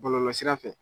Bɔlɔlɔsira fɛ